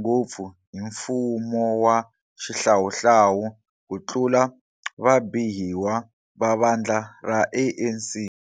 ngopfu hi mfumowa xihlahlawu ku tlula vabihiwa va vandla ra ANC.